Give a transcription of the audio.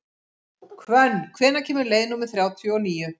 Hvönn, hvenær kemur leið númer þrjátíu og níu?